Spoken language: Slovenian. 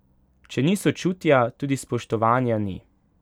Če ni sočutja, tudi spoštovanja ni.